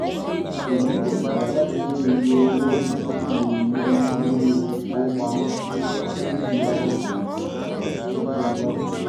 èyí kò tó láti mú iye owó ìdókòwò ilé ilé ìfowópamọ kéré títí dì àkokò yìí tàbí sí ọjọ iwájú